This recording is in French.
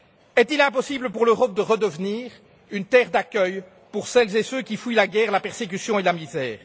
Est il impossible pour l'Europe de redevenir une terre d'accueil pour celles et ceux qui fuient la guerre, la persécution et la misère?